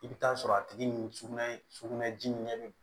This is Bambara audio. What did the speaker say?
I bɛ taa sɔrɔ a tigi ni sugunɛ sugunɛji ɲɛ bɛ